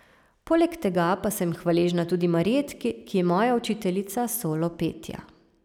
Poleg tega pa sem hvaležna tudi Marjetki, ki je moja učiteljica solo petja.